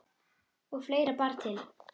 Og fleira bar til.